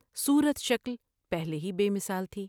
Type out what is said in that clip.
صورت شکل پہلے ہی بے مثال تھی ۔